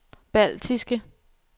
baltiske